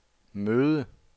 møde